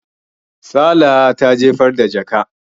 Salaha ta jefar da jakan.